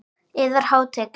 Yðar Hátign!